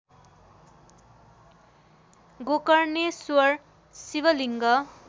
Gokarneshwar Shivling